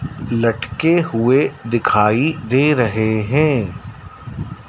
लटके हुए दिखाई दे रहे हैं।